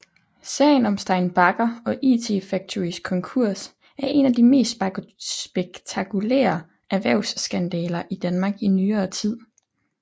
Sagen om Stein Bagger og IT Factorys konkurs er en af de mest spektakulære erhvervsskandaler i Danmark i nyere tid